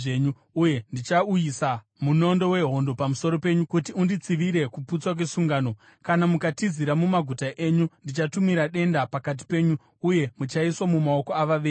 Uye ndichauyisa munondo wehondo pamusoro penyu kuti unditsivire kuputswa kwesungano. Kana mukatizira mumaguta enyu ndichatumira denda pakati penyu, uye muchaiswa mumaoko avavengi.